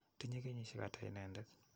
Tinye kenyisyek ata inendet?